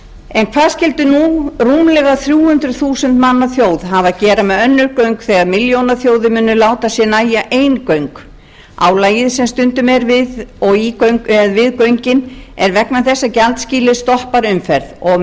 en hvað skyldu nú rúmlega þrjú hundruð þúsund manna þjóð hafa að gera með önnur göng þegar milljónaþjóðir munu láta sér nægja ein göng álagið sem stundum er við göngin er vegna þess að gjaldskýlið stoppar umferð og